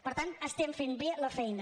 per tant estem fent bé la feina